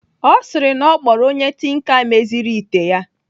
Ọ sịrị na ọ kpọrọ onye tinka meziri ite ya.